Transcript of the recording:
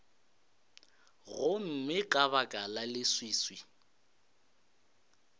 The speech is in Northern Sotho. gomme ka baka la leswiswi